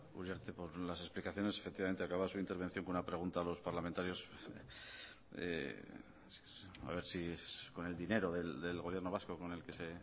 uriarte por las explicaciones efectivamente acaba su intervención con una pregunta a los parlamentarios a ver si con el dinero del gobierno vasco con el que se